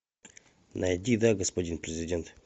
найди да господин президент